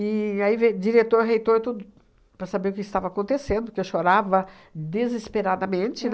E aí veio diretor reitor tudo para saber o que estava acontecendo, porque eu chorava desesperadamente,